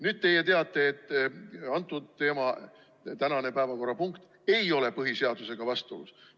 Nüüd teie teate, et tänane päevakorrapunkt ei ole põhiseadusega vastuolus.